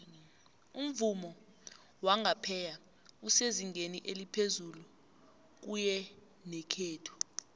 umvumo wangapheya esezingeni eliphezulu kuyenekhethu